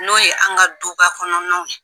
N'o ye an ka du ba kɔnɔnaw ye.